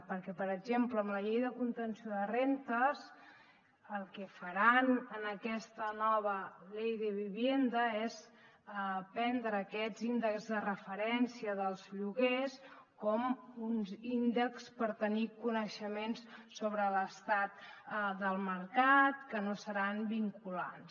perquè per exemple amb la llei de contenció de rendes el que faran en aquesta nova ley de vivienda és prendre aquests índexs de referència dels lloguers com uns índexs per tenir coneixements sobre l’estat del mercat que no seran vinculants